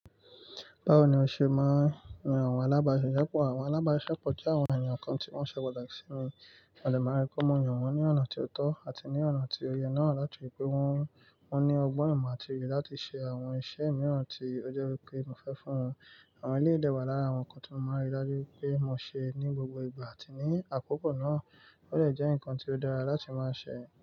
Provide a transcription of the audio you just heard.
Báwo ni o ṣe máa yan àwọn alábáṣiṣepọ̀? Àwọn alábáṣiṣepọ̀ jẹ́ àwọn ènìyàn kan tí wọ́n ṣe pàtàkì sí mi, mo dè máa rí pé mo yan wọn ní ọ̀nà tí ó tọ́ àti ní ọ̀nà tí ó yẹ náà láti rí pé wọn. Wọ́n ní ọgbọ́n, ìmọ̀ àti òye láti ṣe àwọn iṣẹ́ mìran tí ó jẹ́ wípé mo fẹ́ fún wọn. Àwọn eléyì dé wà lára àwọn ǹnkan tí mo máa n rí dájú wípé mo ṣe ní gbogbo ìgbà àti ní àkókò náà. Ó dé jẹ́ ǹkan tí ó dára láti máa ṣe.